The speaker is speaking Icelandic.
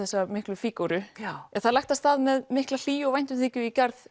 miklu fígúru það er lagt af stað með mikla hlýju og væntumþykju í garð